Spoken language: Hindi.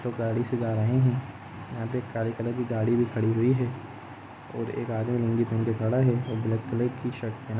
गाड़ी से जा रहे हे यहा पे एक काले कलर की गाड़ी भी खड़ी हुई हे ओर एक आदमी नंगे पुनगे खड़ा हे ओर ब्लैक कलर की शर्ट पेहना--